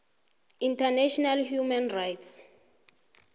international human rights